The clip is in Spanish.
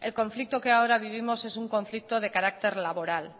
el conflicto que ahora vivimos es un conflicto de carácter laboral